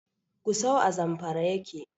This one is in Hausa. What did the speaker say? Gusau a Zamfara yake.